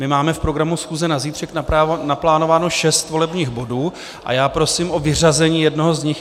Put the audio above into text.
My máme v programu schůze na zítřek naplánováno šest volebních bodů a já prosím o vyřazení jednoho z nich.